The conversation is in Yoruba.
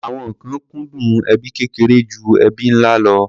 Àwọn kan kúndùn ẹbí kékeré ju ẹbí ńlá lọ.